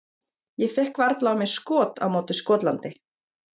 Ég fékk varla á mig skot á móti Skotlandi.